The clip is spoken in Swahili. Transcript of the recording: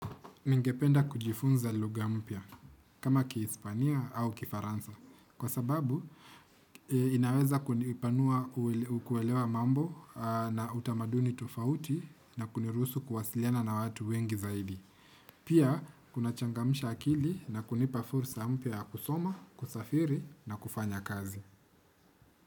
Ningependa kujifunza luga mpya kama ki Hispania au kifaransa kwa sababu inaweza kunipanua ukuelewa mambo na utamaduni tofauti na kuniruhusu kuwasiliana na watu wengi zaidi. Pia kunachangamisha akili na kunipa fursa mpya ya kusoma, kusafiri na kufanya kazi.